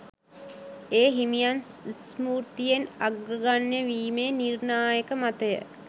ඒ හිමියන් ස්මෘතියෙන් අග්‍රගණ්‍යයවීමේ නිර්ණායක මතය